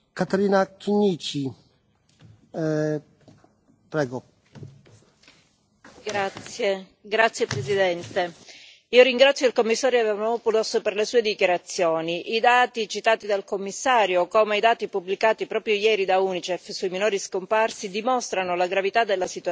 Signor Presidente, onorevoli colleghi, ringrazio il Commissario Avramopoulos per le sue dichiarazioni. I dati citati dal Commissario, come i dati pubblicati proprio ieri dall'UNICEF sui minori scomparsi, dimostrano la gravità della situazione